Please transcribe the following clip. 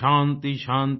शान्तिशान्ति